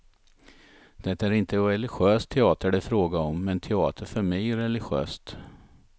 Det är inte religiös teater det är fråga om, men teater är för mig religiöst.